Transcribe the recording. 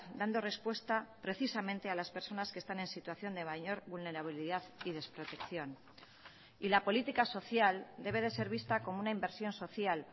dando respuesta precisamente a las personas que están en situación de mayor vulnerabilidad y desprotección y la política social debe de ser vista como una inversión social